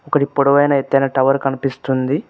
ఒకటి పొడవైన ఎత్తైన టవర్ కనిపిస్తుంది.